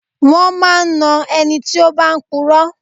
Wón máa ń na ẹni tí ó bá ń puro.